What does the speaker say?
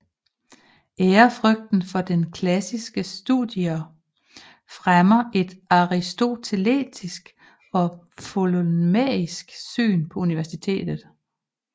Ærefrygten for klassiske studier fremmede et aristotelisk og ptolemæisk syn på universet